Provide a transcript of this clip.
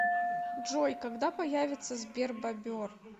джой когда появится сбербобер